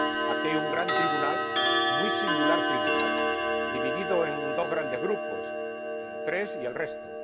Bueno, aquí hay un gran tribunal, muy singular tribunal, dividido en dos grandes grupos tres y el resto.